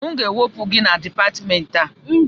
M ga-ewepụ gị na Dipatmentị a!